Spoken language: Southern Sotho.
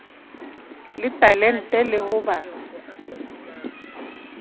le talente le ho ba